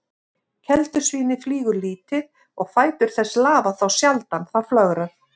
Keldusvínið flýgur lítið og fætur þess lafa þá sjaldan það flögrar.